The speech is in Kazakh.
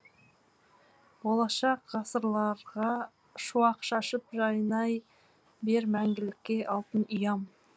болашақ ғасырларға шуақ шашып жайнай бер мәңгілікке алтын ұям